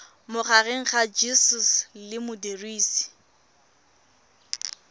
magareng ga gcis le modirisi